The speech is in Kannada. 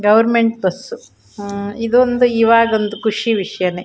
ಗವರ್ನಮೆಂಟ್ ಬಸು ಉಹ್ ಇದೊಂದು ಇವಾಗೊಂದು ಖುಷಿ ವಿಷ್ಯಾನೆ.